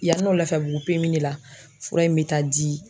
Yann'o Lafiyabugu PMI de la na fura in bɛ taa di.